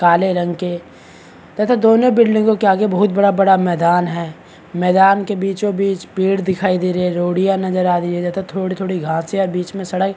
काले रंग के तथा दोनो बिल्डिंगो के आगे बहुत बड़ा - बड़ा मैदान है मैदान के बीचो बीच पेड़ दिखाई दे रहे है रोढिया नजर आ रही है तथा थोड़ी - थोड़ी घास है बीच में सड़क --